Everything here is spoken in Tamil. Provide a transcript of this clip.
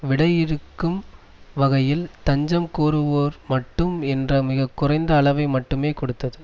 விடையிறுக்கும் வகையில் தஞ்சம் கோருவோர் மட்டும் என்ற மிக குறைந்த அளவை மட்டுமே கொடுத்தது